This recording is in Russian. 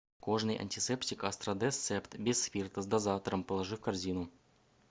кожный антисептик астрадез септ без спирта с дозатором положи в корзину